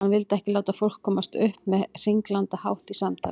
Hann vildi ekki láta fólk komast upp með hringlandahátt í samtali.